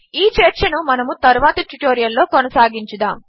ఈ చర్చను మన తరువాతి ట్యుటోరియల్లో కొనసాగించుదాము